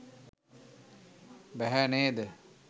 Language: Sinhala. බැහැ නේද?